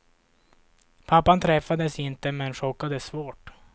Pappan träffades inte, men chockades svårt.